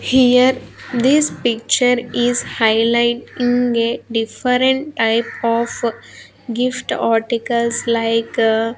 Here this picture is highlighting a different type of gift articles like--